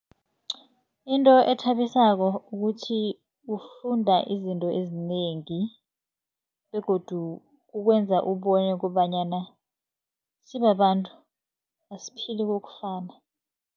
Into ethabisako ukuthi, ufunda izinto ezinengi begodu kukwenza ubone kobanyana sibabantu asiphili kokufana.